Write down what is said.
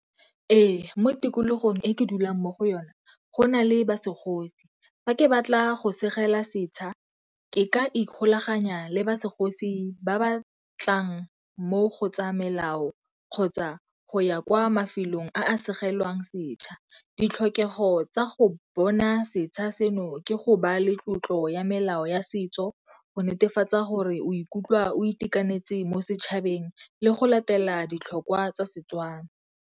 Ee, mo tikologong e ke dulang mo go yona go na le ba segosi. Fa ke batla go segela setšha, ke ka ikgolaganya le ba segosi ba ba tlang mo go tsa melao kgotsa go ya kwa mafelong a segelwang setšha. Ditlhokego tsa go bona setšha seno ke go ba le tlotlo ya melao ya setso, go netefatsa gore o ikutlwa o itekanetse mo setšhabeng le go latela ditlhokwa tsa Setswana.